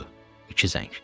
Budur, iki zəng.